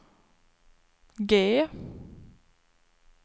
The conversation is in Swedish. G